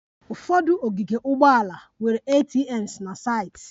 Ụfọdụ ogige ụgbọala nwere ATMs na saịtị